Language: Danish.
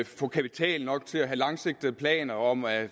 få kapital nok til at have langsigtede planer om at